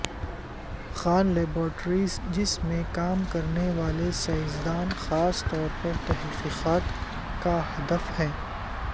Khan laboratories جس میں کام کرنے والے سائنسداں خاص طور پر تحقیقات کا ہدف ہیں